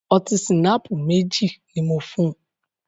Ọtí ṣìnáàpù mẹ́jì ní mò fùn.